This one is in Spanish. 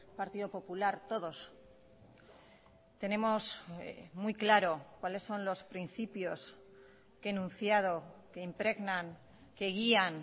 partido popular todos tenemos muy claro cuáles son los principios que he enunciado que impregnan que guían